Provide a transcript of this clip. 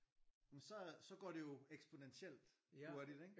Jamen så så går det jo eksponentielt hurtigt ikke?